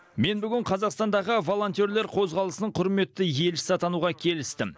мен бүгін қазақстандағы волонтерлер қозғалысының құрметті елшісі атануға келістім